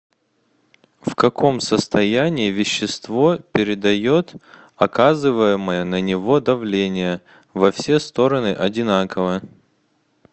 в каком состоянии вещество передает оказываемое на него давление во все стороны одинаково